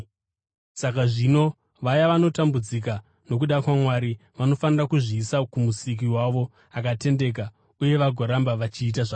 Saka zvino, vaya vanotambudzika nokuda kwaMwari vanofanira kuzviisa kuMusiki wavo akatendeka uye vagoramba vachiita zvakanaka.